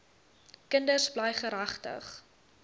kinders bly geregtig